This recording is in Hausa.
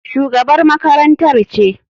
Shugabar makarantar ce.